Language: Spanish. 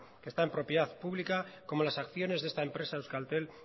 que está en propiedad pública como las acciones de esta empresa euskaltel